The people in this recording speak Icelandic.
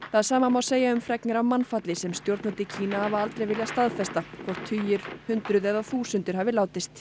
það sama má segja um fregnir af mannfalli sem stjórnvöld í Kína hafa aldrei viljað staðfesta hvort tugir hundruð eða þúsundir hafi látist